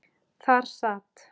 Þar sat